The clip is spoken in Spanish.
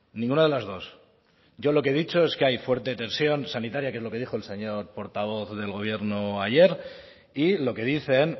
ninguna de las dos yo lo que he dicho es que hay fuerte tensión sanitaria que es lo que dijo el señor portavoz del gobierno ayer y lo que dicen